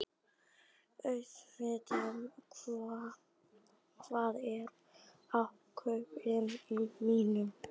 Auðmundur, hvað er á innkaupalistanum mínum?